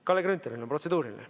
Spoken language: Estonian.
Kalle Grünthalil on protseduuriline.